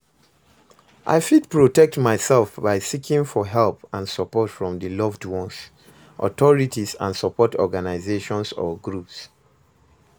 i fit protect myself by seeking for help and support from di loved ones, authorities and support organizations or groups.